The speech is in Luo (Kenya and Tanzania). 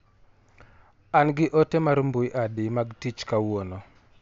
An gi ote mar mbui adi mag tich kawuiono.